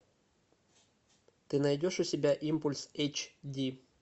ты найдешь у себя импульс эйч ди